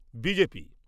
BJP